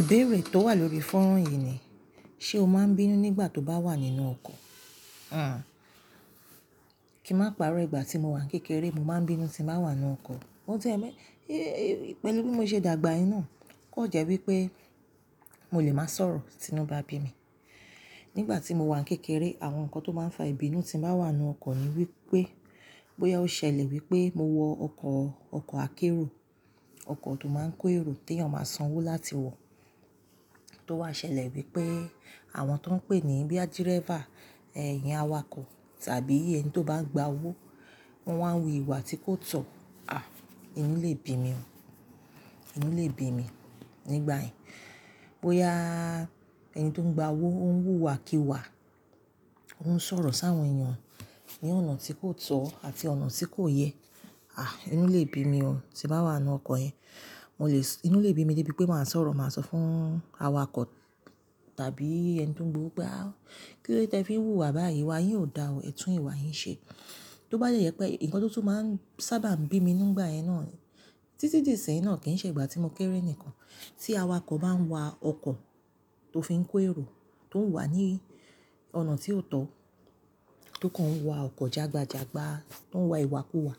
Ìbéèrè tó wà lórí fonran yì ni, ṣe o máa ń bínú nígbà tó bá wà nínú ọkọ̀? Kì màá pàrọ́ ìgbà tí mo wà ní kékeré, mo máa ń bínú tí màá wà nínú ọkọ̀. Mo ti, pẹ̀lú bí mo ṣe dàgbà inú, kò jẹ́ wípé mo lè máa sọ̀rọ̀ tí inú bá bi mi. Nígbà tí mo wà ní kékeré, àwọn nǹkan tó máa ń fa ìbínú tí màá wà nínú ọkọ̀ ni wípé, bóyá ó ṣẹlẹ̀ wípé mo wọ ọkọ̀ akérò, ọkọ̀ tó máa ń kó èrò tí èèyàn máa san owó láti wọ̀, tó wá ṣẹlẹ̀ wípé àwọn tó ń pè ní boya dírẹ́fà, iyen awakọ̀ tàbí ẹni tó bá gba owó, wọ́n wá ń wu ìwà tí kò tọ́, àh! Inú lè bi mi o, inú lè bi mi nígbà yẹn. Bóyá ẹni tó ń gba owó ó ń wúwa kí wa, ó ń sọ̀rọ̀ sáwọn èèyàn ní ọ̀nà tí kò tọ́ àti ọ̀nà tí kò yẹ, àh! Inú lè bi mi ọ tí màá wà nínú ọkọ̀ yẹn. Inú lè bi mi débi pé màá sọ̀rọ̀, màá sọ fún awakọ̀ tàbí ẹni tó ń gbó pé, kí ló dé tí ẹ fi ń wúwa báyìí? Wa yín ò dá o, ẹ̀tùn ìwà yín ṣe. Tó bá yẹ pé nǹkan tó tún máa ń sábà bí mi nígbà yẹn náà, títí dí ìseyin náà kì ṣe ìgbà tí mo kéré nìkan. Tí awakọ̀ bá ń wa ọkọ̀ tó fi ń kó èrò tó ń wà ní ọ̀nà tí ó tọ́, tó kan ń wa ọkọ̀ jagbajagba tó ń wa ìwà kù wà,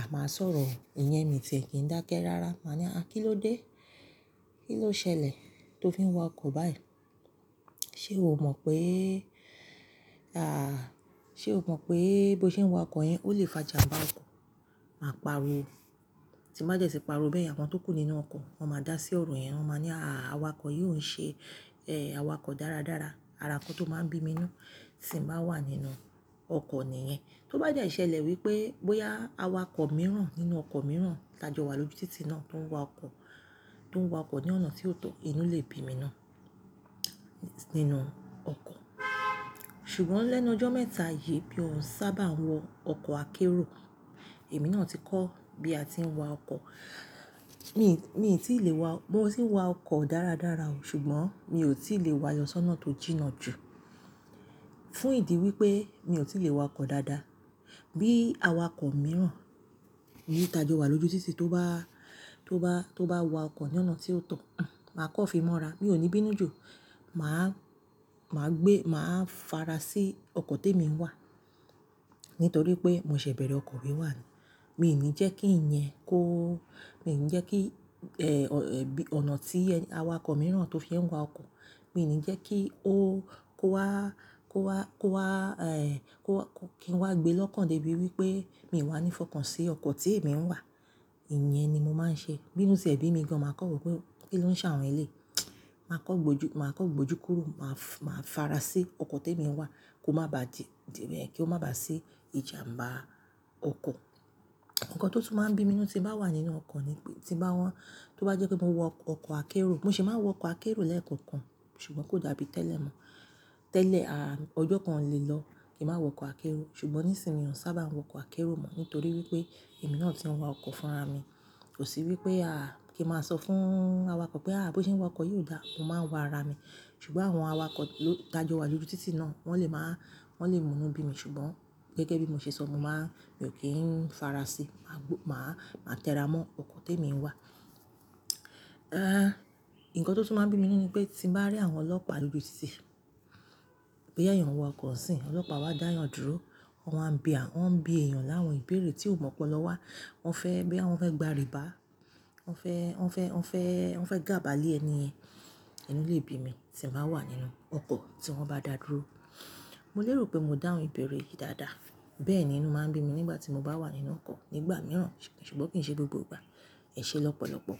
à máa sọ̀rọ̀ ìyẹ́ mi tí ẹ kì dákẹ́ rárá, màá ní, à kí ló dé? Kí ló ṣẹlẹ̀ tó fi ń wa ọkọ̀ báyìí? Ṣé o ò mọ̀ pé, à, ṣé o mọ̀ pé bó ṣe ń wa ọkọ̀ yẹn ó lè fà jàmbá ọkọ̀? Màá pariwo. Tí ba de ti pariwo bẹ́ yen àwọn tó kù nínú ọkọ̀ wọ́n máa dá sí ọ̀rọ̀ yẹn, wọ́n máa ní, àh! Awakọ̀ yì ò ń ṣe awakọ̀ dáradára. Ara nǹkan tó máa ń bí mi inú tí màá wà nínú ọkọ̀ nìyẹn. Inú lè bi mi débi pé màá sọ̀rọ̀, màá sọ fún awakọ̀ tàbí ẹni tó ń gbó pé, kí ló dé tí ẹ fi ń wúwa báyìí? Wa yín ò dá o, ẹ̀tùn ìwà yín ṣe. Ṣùgbọ́n lẹ́nu ọjọ́ mẹ́ta yì mí o ń sábà wọ ọkọ̀ akérò, èmi náà ti kọ́ bí a ti ń wa ọkọ̀. Mi ti le wa oko moti wa oko daradara o, sugbon mi o ti le wa sona to jinna ju. Tí awakọ̀ bá ń wa ọkọ̀ tó fi ń kó èrò tó ń wà ní ọ̀nà tí ó tọ́, tó kan ń wa ọkọ̀ jagbajagba tó ń wa ìwà kù wà, àmáa sọ̀rọ̀ ìyẹ́ mi tí ẹ kì í dákẹ́ rárá, màá ní, à kí ló dé? Kí ló ṣẹlẹ̀ tó fi ń wa ọkọ̀ báyìí? Maa farasi oko temi wa nitori pe mo se bere oko wiwa ni Mi ò ní jẹ́ kí ẹ̀yin kó, mi ò ní jẹ́ kí, ẹ́, ọ̀nà tí awakọ̀ mìíràn tó fi ń wa ọkọ̀, mi ò ní jẹ́ kí ó, kó wá, kó wá, kó wá, eh, kí wọ́n wá gbé lọ́kàn débi wípé mi ò wà ní ìfọkàn sí ọkọ̀ tí èmi ń wà. Ìyẹn ni mo máa ń ṣe. Bínú sì ẹ̀ bi mi gan, màá kọ̀wé pé kí ló ń ṣàwon elée. Màá kọ́ gbójú, màá kọ́ gbójú kúrò, màá fara sí ọkọ̀ tí èmi ń wà kó máa ba di, kí ó máa ba sí ìjàmbá ọkọ̀. Ǹkan tó tún máa ń bí mi inú tí màá wà nínú ọkọ̀ ni pé, tí màá wọ́n, tó bá jẹ́ pé mo wọ ọkọ̀ akérò, mo sì máa ń wọ ọkọ̀ akérò lẹ́ẹ̀kan kan, ṣùgbọ́n kò dàbí tẹ́lẹ̀ mọ́. Tẹ́lẹ̀, à, ọjọ́ kan le lọ kí màá wọ ọkọ̀ akérò, ṣùgbọ́n nísìnyí òún sábà wọ ọkọ̀ akérò mọ́ nítorí wípé èmi náà ti ń wa ọkọ̀ fún ara mi. Kò sí wípé, à, kí màá sọ fún awakọ̀ pé, à bó ṣe ń wa ọkọ̀ yi o dà? Mo máa ń wa ara mi. Ṣùgbọ́n àwọn awakọ̀ ló tajọ́ wa lójú títì náà, wọ́n lè máa, wọ́n lè mú inú bí mi, ṣùgbọ́n gẹ́gẹ́ bí mo ṣe sọ, mo máa, mi ò kí ń fara sí, màá gbó, màá tẹra mọ́ ọkọ̀ tí èmi ń wà. Eh, ǹkan tó tún máa ń bí mi inú ni pé tí màá rí àwọn ọlọ́pàá lójú títì, pé èèyàn wọ ọkọ̀ sí, ọlọ́pàá wa dáyàn dúró, wọ́n máa ń bí à, wọ́n ń bí èèyàn láwọn ìbéèrè tí ò mọ̀ ọ́n pọ̀ lọ wá. Wọ́n fẹ́, bí àwọn fẹ́ gba rìbá, wọ́n fẹ́, wọ́n fẹ́, wọ́n fẹ́, wọ́n fẹ́ gàbálé ẹni yẹn, inú lè bi mi tí màá wà nínú ọkọ̀ tí wọ́n bá dà dúró. Mo lè rò pé mó dà àwọn ìbéèrè yìí dáadáa, bẹ́ẹ̀ ni inú máa ń bí mi nígbà tí mo bá wà nínú ọkọ̀ nígbà mìíràn, ṣùgbọ́n kì í ṣe gbogbo ìgbà. Ẹ̀ṣé lọ́pọ̀lọ́pọ̀.